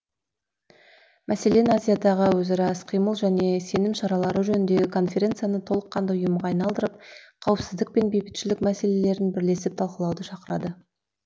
мәселен азиядағы өзара іс қимыл және сенім шаралары жөніндегі конференцияны толыққанды ұйымға айналдырып қауіпсіздік пен бейбітшілік мәселелерін бірлесіп талқылауды шақырды